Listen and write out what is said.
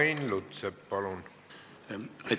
Ain Lutsepp, palun!